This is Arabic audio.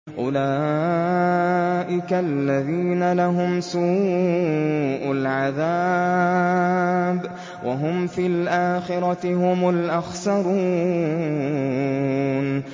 أُولَٰئِكَ الَّذِينَ لَهُمْ سُوءُ الْعَذَابِ وَهُمْ فِي الْآخِرَةِ هُمُ الْأَخْسَرُونَ